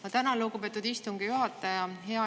Ma tänan, lugupeetud istungi juhataja!